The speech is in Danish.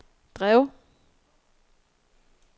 drev